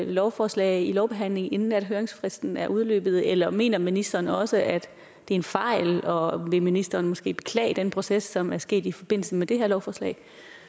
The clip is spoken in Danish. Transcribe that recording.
lovforslag i lovbehandling inden høringsfristen er udløbet eller mener ministeren også at det er en fejl og vil ministeren måske beklage den proces som er sket i forbindelse med det her lovforslag